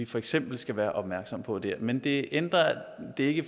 for eksempel skal være opmærksomme på der men det ændrer ikke